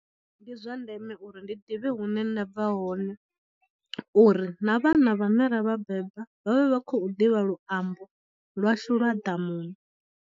Ndi zwa ndeme uri ndi ḓivhe hune nda bva hone uri na vhana vhane ra vha beba vha vhe vha khou ḓivha luambo lwashu lwa ḓamuni.